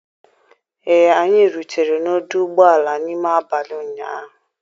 Ee, anyị rutere n'ọdụ ụgbọala n'ime abalị ụnyaahụ.